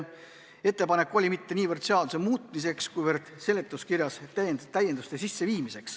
Ettepanek oli seega mitte niivõrd seaduseelnõu muuta, kuivõrd seletuskirja täiendada.